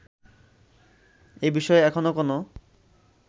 এ বিষয়ে এখনো কোন